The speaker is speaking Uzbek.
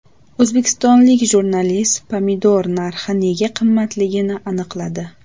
O‘zbekistonlik jurnalist pomidor narxi nega qimmatligini aniqladi.